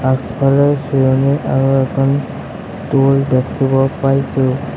আগফালে চিৰণী আৰু এখন টুল দেখিব পাইছোঁ।